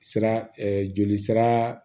Sira jolisira